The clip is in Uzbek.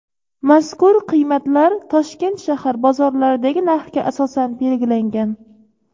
mazkur qiymatlar Toshkent shahar bozorlaridagi narxga asosan belgilangan.